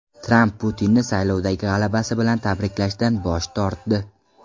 Tramp Putinni saylovdagi g‘alabasi bilan tabriklashdan bosh tortdi.